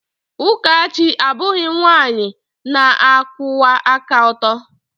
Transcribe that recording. Ụkachi abụghị nwanyị na-akwụwa aka ọtọ.